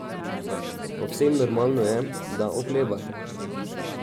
Povsem normalno je, da oklevate.